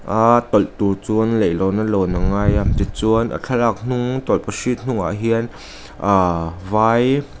aa tawlh tur chuan leihlawn a lawn a ngai a tichuan a thlalak hnung tawlhpahrit hnungah hian ah vai--